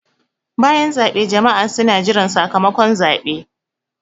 Bayan zaɓe jama'a suna jiran sakamakon zaɓe.